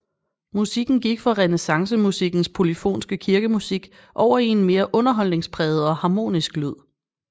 Musikken gik fra renæssancemusikkens polyfonske kirkemusik over i en mere underholdningspræget og harmonisk lyd